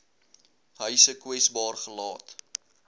huise kwesbaar gelaat